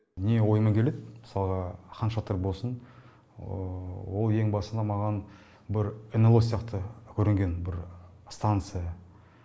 не ойыма келеді мысалға хан шатыр болсын ол ең басына маған бір нло сияқты көрінген бір станция